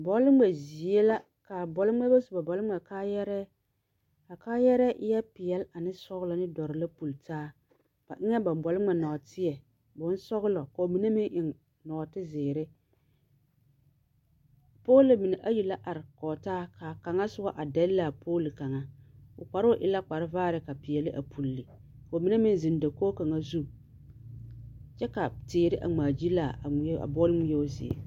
Bɔl-ŋmɛ zie la, kaa bɔl-ŋmɛrebɛ su ba bɔl-ŋmɛ kaayarɛɛ. A kaayɛrɛɛ eɛ peɛl ane sɔglɔ ne dɔr la pulli taa. Ba eŋɛɛ ba bɔl-ŋmɛ nɔɔteɛ, bonsɔgelɔ ka ba mine meŋ eŋ nɔɔtezeere. Poolo mine ayi la are kɔge taa kaa kaŋa soba are dɛlle a pooli kaŋa, o kparoŋ e la kparevaare ka peɛle a pulli , ka ba mine meŋ zeŋ dakog zu, kyɛ ka teere a ŋmaagyilaa a ŋmeɛo a bɔl ŋmeɛo zie.